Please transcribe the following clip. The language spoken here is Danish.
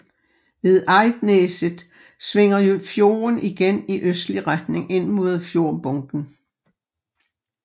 Ved Eidneset svinger fjorden igen i østlig retning ind mod fjordbunden